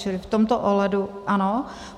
Čili v tomto ohledu ano.